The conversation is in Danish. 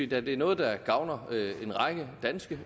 da det er noget der gavner en række danske